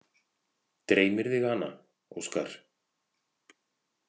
Dreymir þig hana, Óskar?